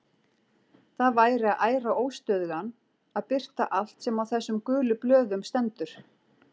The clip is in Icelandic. Það væri að æra óstöðugan að birta allt sem á þessum gulu blöðum stendur.